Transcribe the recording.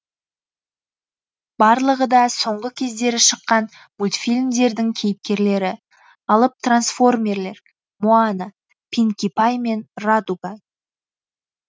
барлығы да соңғы кездері шыққан мультфильмдердің кейіпкерлері алып трансформерлер моана пинки пай мен радуга